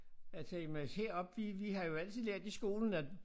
At her men heroppe vi vi har jo altid lært i skolen at